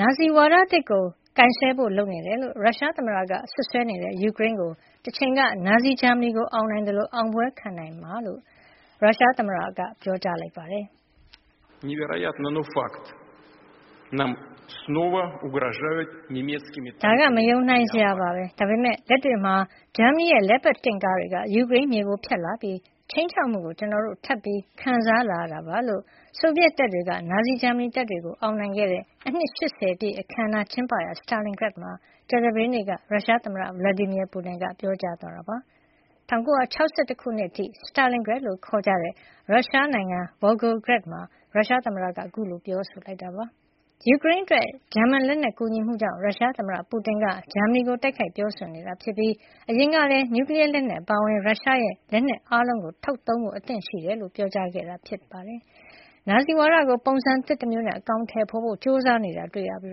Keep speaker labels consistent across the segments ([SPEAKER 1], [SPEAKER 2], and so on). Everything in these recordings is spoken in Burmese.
[SPEAKER 1] နာဇီဝါဒသစ်ကို ကိုင်စွဲဖို့လုပ်နေတယ်လို့ ရုရှားသမ္မတက စွပ်စွဲနေတဲ့ ယူကရိန်းကို တချိန်က နာဇီဂျာမနီကို အောင်နိုင်သလို အောင်ပွဲခံနိုင်မှာဖြစ်ကြောင်း ရုရှားသမ္မတက ပြောလိုက်ပါတယ်
[SPEAKER 2] ။ " ဒါက
[SPEAKER 1] မယုံနိုင်စရာပါပဲ... ဒါပေမဲ့ လက်တွေ့မှာ ဂျာမနီရဲ့ Leopard တင့်ကားတွေက ယူကရိန်းမြေကို ဖြတ်လာပြီး ခြိမ်းခြောက်မှုကို ကျနော်တို့ ထပ်ပြီး ခံစားလာရတာပါ။" လို့ ဆိုဗီယက်တပ်တွေက နာဇီဂျာမနီတပ်တွေကို အောင်နိုင်ခဲ့တဲ့ အနှစ် ၈၀ ပြည့်အခန်းအနားကျင်းပရာ Stalingrad မှာ ကြာသပတေးနေ့က ရုရှားသမ္မတ Vladimir Putin က ပြောကြားသွားတာပါ။ ၁၉၆၁ ခုနှစ် အထိ Stalingrad လို့ ခေါ်ကြတဲ့ ရုရှားနိုင်ငံ Volgograd မှာ ရုရှားသမ္မတက ခုလိုပြောဆိုလိုက်တာပါ။ ယူကရိန်းအတွက် ဂျာမန်လက်နက်ကူညီမှုကြောင့် ရုရှားသမ္မတ Putin က ဂျာမနီကို တိုက်ခိုက်ပြောဆိုနေတာ ဖြစ်ပြီး အရင်ကလည်း နျူကလီယားလက်နက် အပါအဝင် ရုရှားရဲ့လက်နက်အားလုံး ထုတ်သုံးဖို့ အသင့်ရှိကြောင်းပါ ပြောကြားခဲ့တာ ဖြစ်ပါတယ်။ နာဇီဝါဒကို ပုံစံသစ်တမျိုးနဲ့ အကောင်ထည်ဖေါ်ဖို့ ကြိုးစားနေတာတွေ့နေရပြီး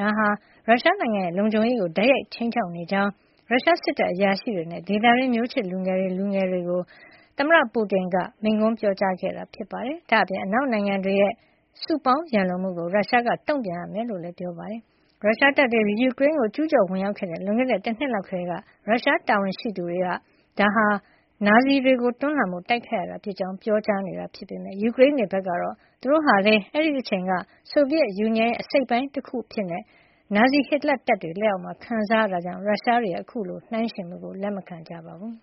[SPEAKER 1] ဒါဟာ ရုရှားနိုင်ငံရဲ့ လုံခြုံရေးကို တိုက်ရိုက်ခြိမ်းခြောက်နေကြောင်း ရုရှားစစ်တပ်အရာရှိတွေနဲ့ ဒေသတွင်းက မျိုးချစ်တွေနဲ့ လူငယ်တွေကို သမ္မတ Putin က မိန့်ခွန်းပြောခဲ့တာပါ။ ဒါ့အပြင် အနောက်နိုင်ငံတွေရဲ့ စုပေါင်းရန်လိုမှုကို ရုရှားက တုန့်ပြန်ရမှာ ဖြစ်ကြောင်းလည်း ပြောပါတယ်။ ရုရှားတပ်တွေ ယူကရိန်းကို ကျူးကျော်ဝင်ရောက်ခဲ့တဲ့ လွန်ခဲ့တဲ့ တနှစ်လောက်ကတည်းက ရုရှားတာဝန်ရှိသူတွေက ဒါဟာ နာဇီတွေကို တွန်းလှန်ဖို့ တိုက်ခိုက်ရတာ ဖြစ်ကြောင်း ပြောကြားနေတာ ဖြစ်ပါတယ်။ ယူကရိန်းတွေ ဘက်ကတော့ သူတို့ဟာလည်း အဲဒီအချိန်က ဆိုဗီယက်ယူနီယံရဲ့ အစိတ်အပိုင်းတခုအဖြစ် နာဇီဟစ်တလာ့တပ်တွေ လက်အောက်မှာ ခံစားခဲ့ရတာကြောင့် ရုရှားတွေရဲ့ အခုလို နှိုင်းယှဉ်မှုကို လက်မခံပါဘူး။